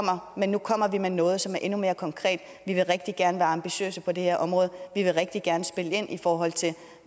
men nu kommer vi med noget som er endnu mere konkret vi vil rigtig gerne være ambitiøse på det her område vi vil rigtig gerne spille ind i forhold til